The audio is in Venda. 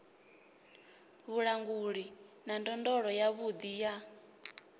vhulanguli na ndondolo yavhuḓi ya